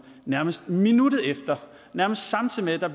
nærmest minuttet efter nærmest samtidig med at der